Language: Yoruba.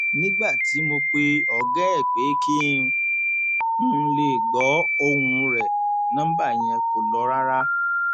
nígbà tí mo pe ọgá ẹ pé kí n lè gbọ ohùn rẹ nọmba yẹn kò lọ rárá